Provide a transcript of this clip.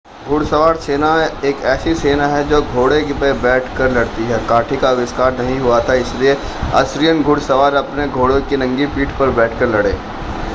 घुड़सवार सेना एक ऐसी सेना है जो घोड़े पर बैठकर लड़ती है काठी का आविष्कार नहीं हुआ था इसलिए असीरियन घुड़सवार अपने घोड़ों की नंगी पीठ पर बैठकर लड़े